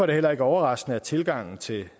det heller ikke overraskende at tilgangen til